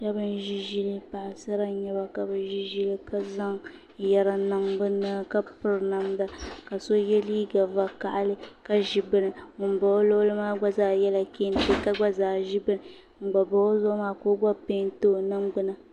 Shab n ʒi ʒili paɣasara n nyɛba ka zaŋ yɛri n niŋ bi naba ni ka piri namda ka so yɛ liiga vakaɣali ka ʒi bini ŋun bɛ o luɣuli zuɣu maa gba yɛla kɛntɛ ka ʒi bini ŋun gba pahi o zuɣu maa ka o gba peenti o ningbuna